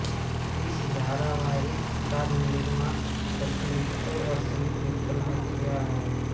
इस धारावाहिक का निर्माण शशि मित्तल और सुमीत मित्तल ने किया है